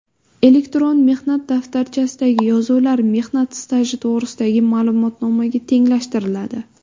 Elektron mehnat daftarchasidagi yozuvlar mehnat staji to‘g‘risidagi ma’lumotnomaga tenglashtiriladi.